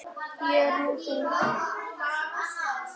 Ég er nú þung.